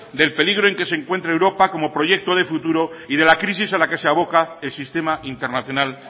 del peligro en que se encuentra europa como proyecto de futuro y de la crisis a la que se aboca el sistema internacional